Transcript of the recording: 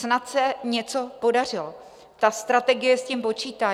Snad se něco podařilo, ta strategie s tím počítá.